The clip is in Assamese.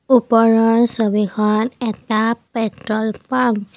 ওপৰৰ ছবিখন এখন পেট্ৰল পাম্প ।